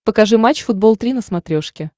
покажи матч футбол три на смотрешке